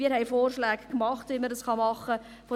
Wir haben Vorschläge gemacht, wie man das tun kann.